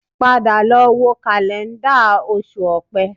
Padà lọ wo kàlẹ́ńdà Oṣù Opẹ́